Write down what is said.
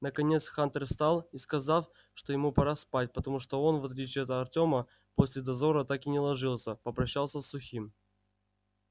наконец хантер встал и сказав что ему пора спать потому что он в отличие от артема после дозора так и не ложился попрощался с сухим